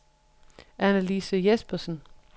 Annelise Jespersen